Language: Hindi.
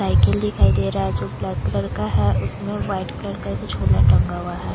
साइकिल दिखाई दे रहा है जो ब्लैक कलर का है उसमें वाइट कलर का एक झोला टंगा हुआ है।